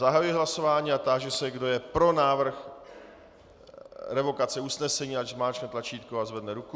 Zahajuji hlasování a táži se, kdo je pro návrh revokace usnesení, ať zmáčkne tlačítko a zvedne ruku.